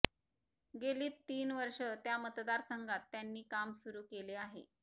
गेलीत तीन वर्ष त्या मतदारसंघात त्यांनी काम सुरु केले आहे